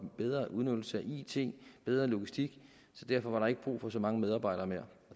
bedre udnyttelse af it bedre logistik så derfor var der ikke brug for så mange medarbejdere mere